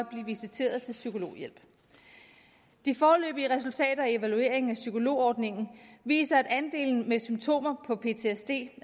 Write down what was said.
visitere til psykologhjælp de foreløbige resultater af evalueringen af psykologordningen viser at andelen med symptomer på ptsd